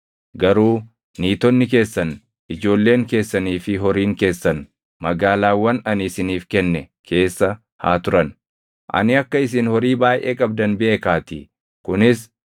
Garuu niitonni keessan, ijoolleen keessanii fi horiin keessan magaalaawwan ani isiniif kenne keessa haa turan; ani akka isin horii baayʼee qabdan beekaatii.